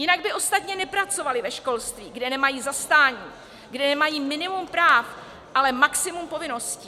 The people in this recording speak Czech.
Jinak by ostatně nepracovali ve školství, kde nemají zastání, kde nemají minimum práv, ale maximum povinností.